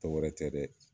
Tɔ wɛrɛ tɛ dɛ